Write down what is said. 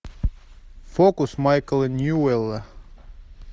фокус майкла ньюэлла